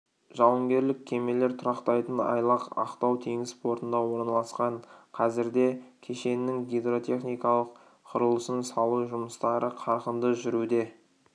жауынгерлік кемелер тұрақтайтын айлақ ақтау теңіз портында орналасқан қазірде кешеннің гидротехникалық құрылысын салу жұмыстары қарқынды жүруде